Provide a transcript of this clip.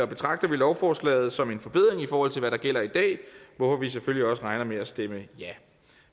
betragter vi lovforslaget som en forbedring i forhold til hvad der gælder i dag hvorfor vi selvfølgelig også regner med at stemme ja